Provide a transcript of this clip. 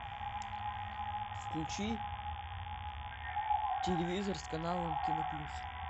включи телевизор с каналом кино плюс